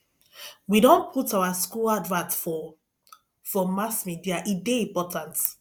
we don put our skool advert for for mass media e dey important